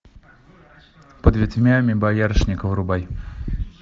под ветвями боярышника врубай